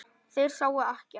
Þeir sáu ekkert.